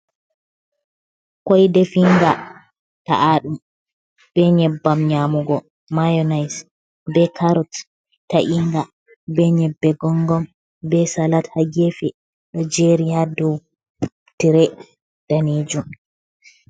Koy definga ta’aɗum be nyebbam nyamugo mionite be carot ta’inga, be nyebbe gongom, be salat ha gefe ɗo jeri ha dou tire danejum.